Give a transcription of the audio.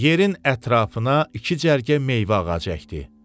Yerin ətrafına iki cərgə meyvə ağacı əkdi.